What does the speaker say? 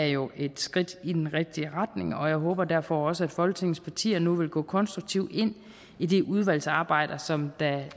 jo et skridt i den rigtige retning jeg håber derfor også at folketingets partier nu vil gå konstruktivt ind i det udvalgsarbejde som